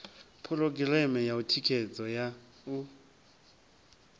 phurogireme ya thikhedzo ya u